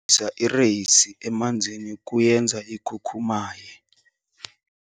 isa ireyisi emanzini kuyenza ikhukhumaye.